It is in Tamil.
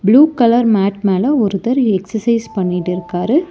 ப்ளூ கலர் மேட் மேல ஒருத்தர் எக்சர்சைஸ் பண்ணிட்டுருக்காரு.